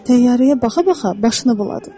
Təyyarəyə baxa-baxa başını buladı.